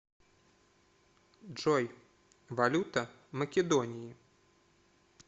джой валюта македонии